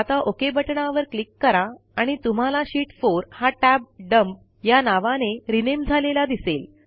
आता ओक बटणावर क्लिक करा आणि तुम्हाला शीत 4 हा टॅब डम्प या नावाने रीनेम झालेला दिसेल